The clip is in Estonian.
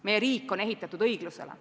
Meie riik on ehitatud õiglusele.